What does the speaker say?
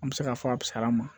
An bɛ se k'a fɔ a fisayara ma